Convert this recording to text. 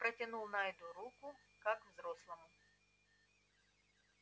протянул найду руку как взрослому